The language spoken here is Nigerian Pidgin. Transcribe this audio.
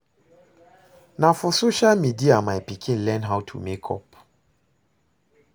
Na for social media my pikin learn how to make up